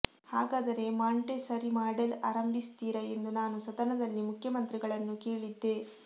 ಹಾಗಾದರೆ Montessori model ಆರಂಭಿಸ್ತೀರಾ ಎಂದು ನಾನು ಸದನದಲ್ಲಿ ಮುಖ್ಯಮಂತ್ರಿಗಳನ್ನು ಕೇಳಿದ್ದೆ